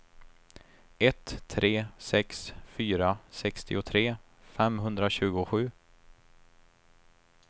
ett tre sex fyra sextiotre femhundratjugosju